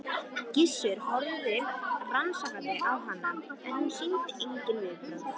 Gissur horfði rannsakandi á hana en hún sýndi engin viðbrögð.